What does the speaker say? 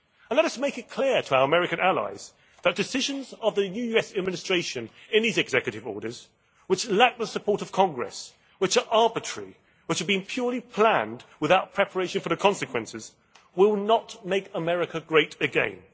And let us make it clear to our American allies that decisions of the new US Administration in these executive orders, which lacked the support of Congress, which are arbitrary, which have been purely planned without preparation for the consequences, will not make America great again.